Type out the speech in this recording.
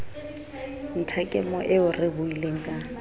nthakemo eo re buileng ka